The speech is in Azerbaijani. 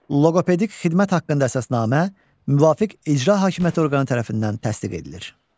Loqopedik xidmət haqqında əsasnamə müvafiq icra hakimiyyəti orqanı tərəfindən təsdiq edilir.